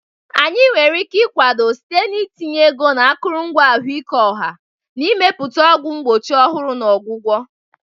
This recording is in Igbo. Anyị nwere ike ịkwado site n'itinye ego na akụrụngwa ahụike ọha, na Ịmepụta ọgwụ mgbochi ọhụrụ na ọgwụgwọ.